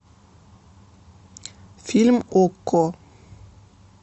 фильм окко